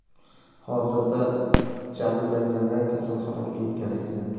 Hozirda jabrlanganlar kasalxonaga yetkazilgan.